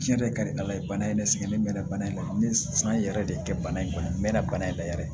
Tiɲɛ yɛrɛ ka di ala ye bana in ne sɛgɛn ne mɛnna bana in na n ye san yɛrɛ de kɛ bana in kɔnɔ n mɛɛnna bana in la yɛrɛ